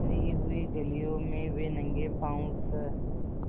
भरी हुई गलियों में वे नंगे पॉँव स्